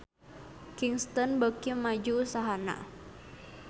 Kingston beuki maju usahana